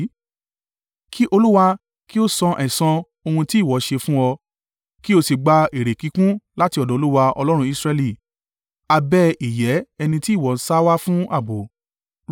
Kí Olúwa kí ó san ẹ̀san ohun tí ìwọ ṣe fún ọ. Kí o sì gba èrè kíkún láti ọ̀dọ̀ Olúwa Ọlọ́run Israẹli, abẹ́ ìyẹ́ ẹni tí ìwọ sá wá fún ààbò.”